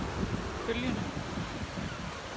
følgende